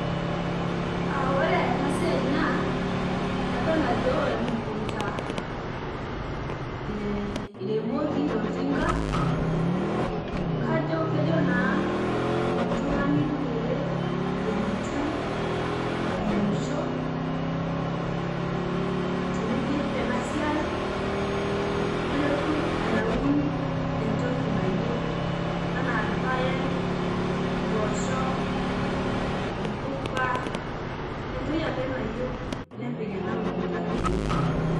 Ore enasiai na adol ajo emukunda e iremikibtoltinga ajo kejo na oltungani pelotu airemisho teneidip enasiai nelotu aun entoki anyieu anaa irpaek, impoosho, imouka entoki ake nayieu nepik ena mukunda enye.